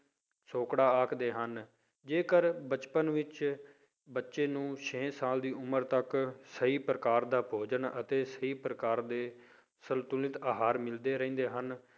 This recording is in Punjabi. ਸੌਕੜਾ ਆਖਦੇ ਹਨ, ਜੇਕਰ ਬਚਪਨ ਵਿੱਚ ਬੱਚੇ ਨੂੰ ਛੇ ਸਾਲ ਦੀ ਉਮਰ ਤੱਕ ਸਹੀ ਪ੍ਰਕਾਰ ਦਾ ਭੋਜਨ ਅਤੇ ਸਹੀ ਪ੍ਰਕਾਰ ਦੇ ਸੰਤੁਲਤ ਆਹਾਰ ਮਿਲਦੇ ਰਹਿੰਦੇ ਹਨ,